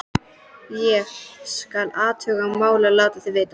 Ég: skal athuga málið og láta þig vita